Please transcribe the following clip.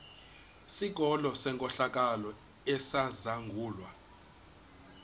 sikolo senkohlakalo esizangulwa